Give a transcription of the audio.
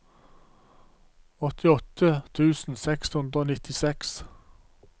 åttiåtte tusen seks hundre og nittiseks